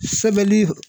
Sɛbɛli